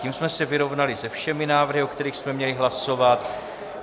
Tím jsme se vyrovnali se všemi návrhy, o kterých jsme měli hlasovat.